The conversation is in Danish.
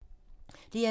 DR2